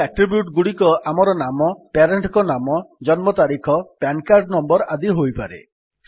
ଏହି ଆଟ୍ରିବ୍ୟୁଟ୍ ଗୁଡିକ ଆମର ନାମ ପ୍ୟାରେଣ୍ଟ୍ ଙ୍କ ନାମ ଜନ୍ମ ତାରିଖ ପାନ୍ କାର୍ଡ୍ ନଂ ଆଦି ହୋଇପାରେ